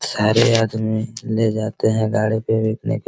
सारे आदमी ले जाते हैं गाड़ी पे बेचने के --